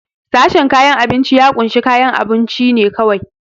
Sashen kayan abinci ya kunshi kayan abunci ne kawai.